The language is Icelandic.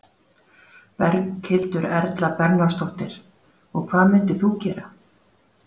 Berghildur Erla Bernharðsdóttir: Og hvað myndir þú gera?